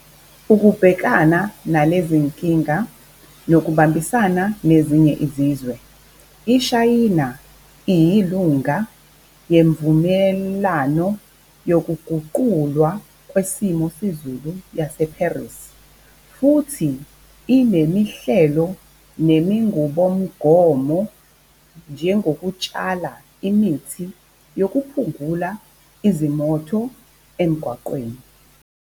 Ukubhekana nalezinkinga nokubambisana nezinye izizwe, iShayina iyilunga Yemvumelano yokuGuqulwa kweSimo seZulu yaseParis futhi inemihlelo nemingubomgomo njengokutshala imithi nokuphungula izimotho emgwaqeni.